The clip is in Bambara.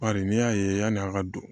Bari n'i y'a ye yani a ka don